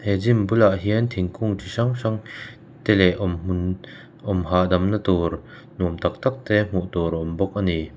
he gym bulah hian thingkung ti hrang hrang te leh awm hmun awm hahdamna tur nuam tak tak te hmuh tur a awm bawk ani.